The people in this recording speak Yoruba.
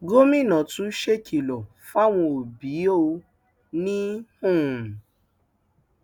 gomina tún ṣèkìlọ fáwọn òbí ò ní um